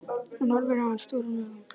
Hún horfir á hana stórum augum.